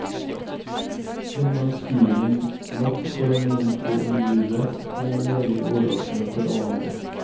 Gjennomskuelig nok for noen få innvidde, men meget overraskende for alle andre.